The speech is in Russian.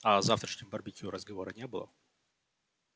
а о завтрашнем барбекю разговора не было